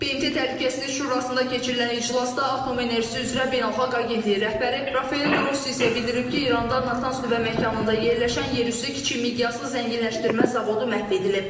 BMT Təhlükəsizlik Şurasında keçirilən iclasda atom enerjisi üzrə Beynəlxalq Agentliyin rəhbəri Rafael Qrossi isə bildirib ki, İranda Natanz nüvə məkanında yerləşən yerüstü kiçik miqyaslı zənginləşdirmə zavodu məhv edilib.